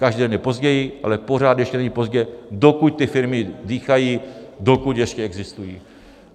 Každý den je později, ale pořád ještě není pozdě, dokud ty firmy dýchají, dokud ještě existují.